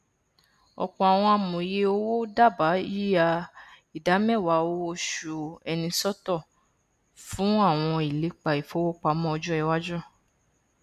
ọpọ àwọn amòye owó dábàá yíya ìdá mẹwàá owo oṣù ẹni sọtọ fún àwọn ìlépa ìfowópamọ ọjọ iwáju